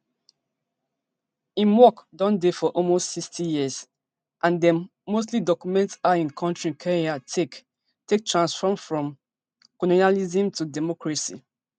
im work don dey for almost sixty years and dem mostly document how in kontri kenya take take transform from colonialism to democracy